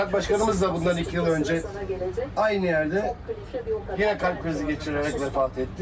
Duraq başqanımız da bundan iki il öncə eyni yerdə yenə kalp krizi keçirərək vəfat etdi.